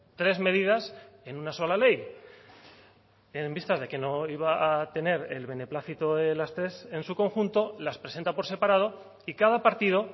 tres medidas en una sola ley en vistas de que no iba a tener el beneplácito de las tres en su conjunto las presenta por separado y cada partido